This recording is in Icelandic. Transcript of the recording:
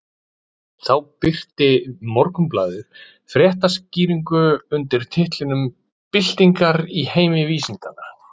Þá birti Morgunblaðið fréttaskýringu undir titlinum Byltingar í heimi vísindanna.